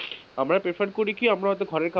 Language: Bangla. আমরা preferred করি কি আমরা হয়তো ঘরে,